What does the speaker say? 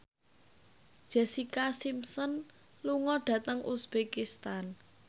Jessica Simpson lunga dhateng uzbekistan